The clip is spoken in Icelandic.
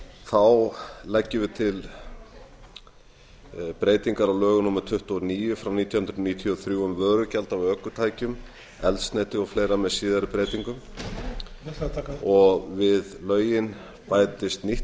þá leggjum við breytingar á lögum númer tuttugu og níu nítján hundruð níutíu og þrjú um vörugjald af ökutækjum eldsneyti og fleiri með síðari breytingum við lögin bætist nýtt